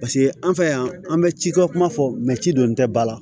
Paseke an fɛ yan an bɛ ci kɛ kuma fɔ ci don tɛ ba la